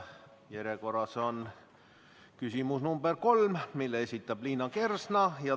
Järjekorras on küsimus number kolm, mille esitab Liina Kersna.